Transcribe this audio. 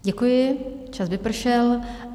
Děkuji, čas vypršel.